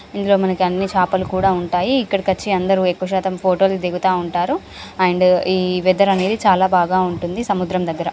ఇందులో మనకి అన్ని చాపలు కూడా ఉంటాయి. ఇక్కడకు వచ్చి అందరూ ఎక్కువ శాతం ఫోటో లు దిగుతా ఉంటారు. అండ్ ఈ వెదర్ అనేది చాలా బాగా ఉంటుంది. సముద్రం దగ్గర .